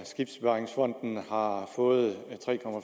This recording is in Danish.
skibsbevaringsfonden år fået